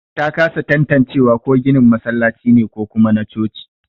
Ta kasa tanatacewa ko ginin masallaci ne ko kuma na coci.